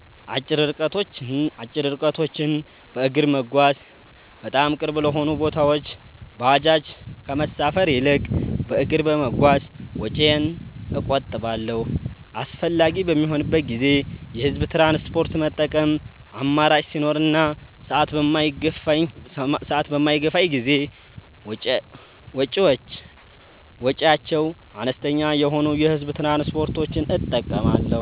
አጭር ርቀቶችን በእግር መጓዝ፦ በጣም ቅርብ ለሆኑ ቦታዎች ባጃጅ ከመሳፈር ይልቅ በእግር በመጓዝ ወጪዬን እቆጥባለሁ። አስፈላጊ በሚሆንበት ጊዜ የህዝብ ትራንስፖርት መጠቀም፦ አማራጭ ሲኖር እና ሰዓት በማይገፋኝ ጊዜ ወጪያቸው አነስተኛ የሆኑ የህዝብ ትራንስፖርቶችን እጠቀማለሁ።